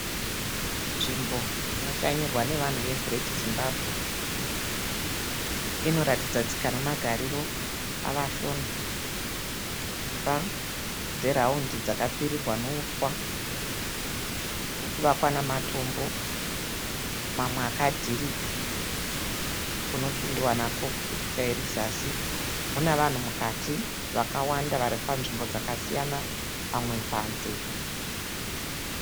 Nzvimbo inoshanyirwa nevanhu ye Gireti Zimbabwe. Inoratidza tsika nemagariro avashona. Dzimba dzeraundi dzakapfirirwa nouswa, nekuvakwa nematombo, mwamwe akadhirika. Kunopindwa kupicha irizasi. Mune vanhu mukati vakawanda varipamutambo dzasiyana, vamwe panze.